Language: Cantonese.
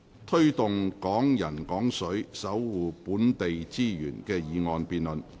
"推動'港人港水'，守護本地資源"的議案辯論。